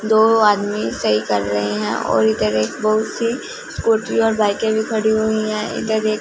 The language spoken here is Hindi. दो आदमी सही कर रहे हैं और इधर एक बहुत सी स्कूटी और बाइके भी खड़ी हुई हैं इधर एक--